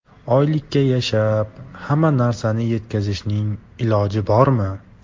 Oylikka yashab, hamma narsaga yetkazishning iloji bormi?